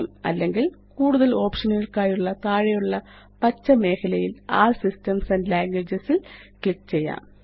അല്ലെങ്കില് കൂടുതല് ഓപ്ഷനുകള്ക്കായുള്ള താഴെയുള്ള പച്ച മേഖലയില് ആൽ സിസ്റ്റംസ് ആൻഡ് ലാംഗ്വേജസ് ല് ക്ലിക്ക് ചെയ്യാം